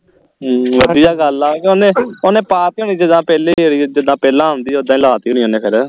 ਅਮ ਵਧੀਆ ਗੱਲ ਆ ਕੇ ਓਹਨੇ ਓਹਨੇ ਪਾ ਤੀ ਹੋਣੀ ਜਿੱਦਾਂ ਪਹਿਲੀ ਵਰੀ ਜਿੱਦਾਂ ਪਹਿਲਾਂ ਆਉਂਦੀ ਹੈ ਉੱਦਾਂ ਹੀ ਲਾ ਤੀ ਹੋਣੀ ਹੈ ਓਹਨੇ ਫੇਰ